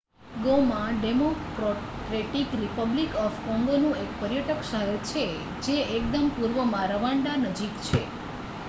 Goma Democratic Republic of કોંગોનું એક પર્યટક શહેર છે જે એકદમ પૂર્વમાં રવાન્ડા નજીક છે